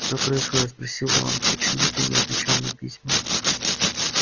что происходит спросил рон почему ты не отвечал на письма